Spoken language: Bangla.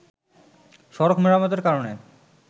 সড়ক মেরামতের কারণে